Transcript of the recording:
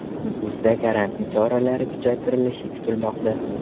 Nukusda karantin choralari kuchaytirilishi kutilmoqda.